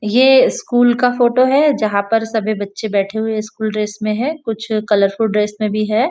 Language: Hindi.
यह स्कूल का फोटो है जहाँ पे सभी बच्चें बैठे हुए स्कूल ड्रेस में है कुछ कलरफूल ड्रेस में भी है।